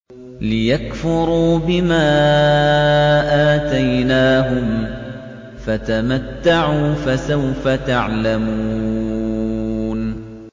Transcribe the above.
لِيَكْفُرُوا بِمَا آتَيْنَاهُمْ ۚ فَتَمَتَّعُوا فَسَوْفَ تَعْلَمُونَ